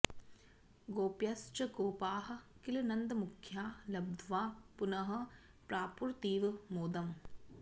गोप्यश्च गोपाः किल नन्दमुख्या लब्ध्वा पुनः प्रापुरतीव मोदम्